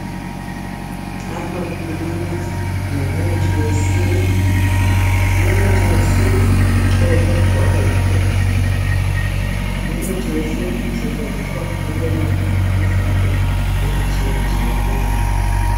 Lapha kukhulunywa ngomuthi wesintu .Lumuthi wesintu ucholwe wabayimpuphu .Lumuthi wesintu usetshenziswa ukwelapha izifo ezitshiya tshiyeneyo .